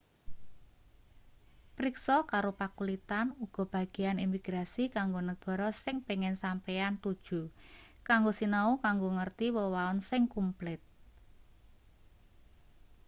priksa karo pakulitan uga bagean imigrasi kanggo negara sing pengin sampeyan tuju kanggo sinau kanggo ngerti wewaon sing kumplit